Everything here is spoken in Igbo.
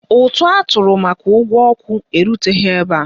Ụtụ atụrụ maka ụgwọ ọkụ eruteghi ebe a.